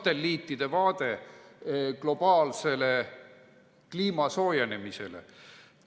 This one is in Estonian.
Satelliitide vaade globaalsele kliima soojenemisele".